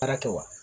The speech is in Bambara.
Baara kɛ wa